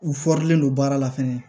U don baara la fɛnɛ